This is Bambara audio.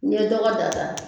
N'i ye dɔgɔ da da